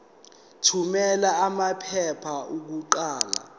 thumela amaphepha okuqala